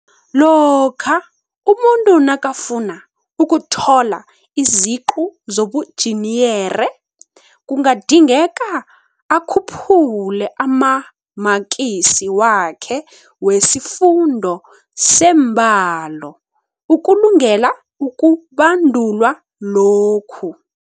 lokha umuntu nakafuna ukuthola iziqu zobunjiniyere, kungadingeka akhuphule amamaksi wakhe wesifundo seembalo ukulungela ukubandulwa lokhu.